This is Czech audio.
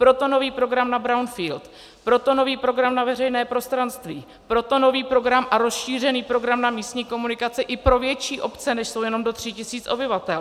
Proto nový program na brownfield, proto nový program na veřejné prostranství, proto nový program a rozšířený program na místní komunikace i pro větší obce, než jsou jenom do 3 tisíc obyvatel.